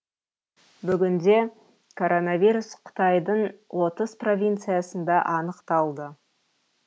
бүгінде коронавирус қытайдың отыз провинциясында анықталды